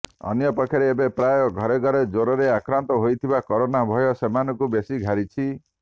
ଅନ୍ୟପକ୍ଷରେ ଏବେ ପ୍ରାୟ ଘରେ ଘରେ ଜ୍ୱରରେ ଆକ୍ରାନ୍ତ ହେଇଥିବାରୁ କରୋନା ଭୟ ସେମାନଙ୍କୁ ବେଶୀ ଘାରିଛି